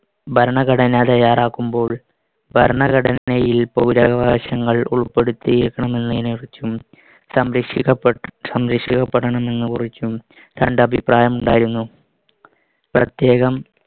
ഭരണഘടന തയ്യാറാക്കുമ്പോൾ ഭരണഘടനയിൽ പൗരാവകാശങ്ങൾ ഉൾപെടുത്തിയേക്കണമെന്നതിനെ കുറിച്ചും സംരക്ഷിക്കപ്പ~ സംരക്ഷിക്കപ്പെടണമെന്നക്കുറിച്ചും രണ്ട് അഭിപ്രായം ഉണ്ടായിരുന്നു.